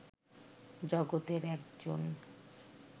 জগতের একজন